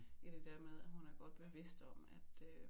I det der med at hun er godt bevidst om at øh